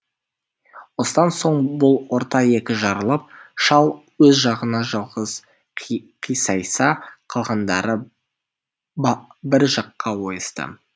осыдан соң бұл орта екі жарылып шал өз жағына жалғыз қисайса қалғандары бір жаққа ойысты